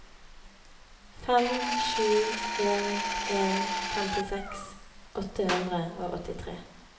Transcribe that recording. fem sju en en femtiseks åtte hundre og åttitre